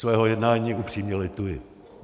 Svého jednání upřímně lituji.